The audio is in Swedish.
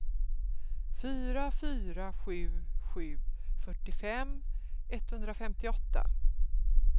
fyra fyra sju sju fyrtiofem etthundrafemtioåtta